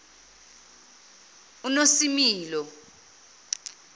unosimilo